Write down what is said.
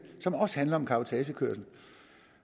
som også handler om cabotagekørsel